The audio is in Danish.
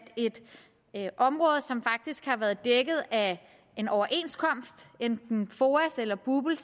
et område som faktisk har været dækket af en overenskomst enten af foa eller bupl